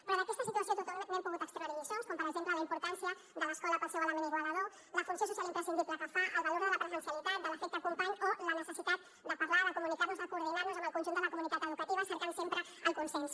però d’aquesta situació tothom n’hem pogut extreure lliçons com per exemple la importància de l’escola pel seu element igualador la funció social imprescindible que fa el valor de la presencialitat de l’efecte company o la necessitat de parlar de comunicar nos de coordinar nos amb el conjunt de la comunitat educativa cercant sempre el consens